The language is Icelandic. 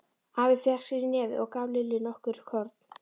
Afi fékk sér í nefið og gaf Lillu nokkur korn.